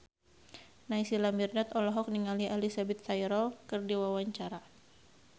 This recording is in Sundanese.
Naysila Mirdad olohok ningali Elizabeth Taylor keur diwawancara